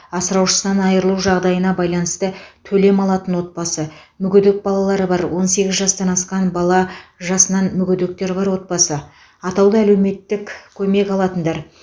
асыраушысынан айрылу жағдайына байланысты төлем алатын отбасы мүгедек балалары бар он сегіз жастан асқан бала жасынан мүгедектер бар отбасы атаулы мемлекеттік әлеуметтік көмек алатындар